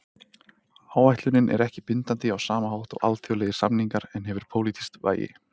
Áætlunin er ekki bindandi á sama hátt og alþjóðlegir samningar en hefur pólitískt vægi.